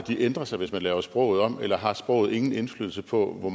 ændrer sig hvis man laver sproget om eller har sproget ingen indflydelse på